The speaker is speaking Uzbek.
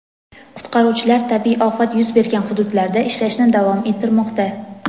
Qutqaruvchilar tabiiy ofat yuz bergan hududlarda ishlashni davom ettirmoqda.